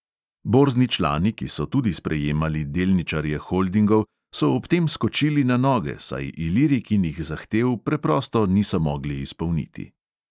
Borzni člani, ki so tudi sprejemali delničarje holdingov, so ob tem skočili na noge, saj ilirikinih zahtev preprosto niso mogli izpolniti.